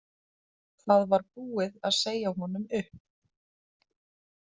Það var búið að segja honum upp.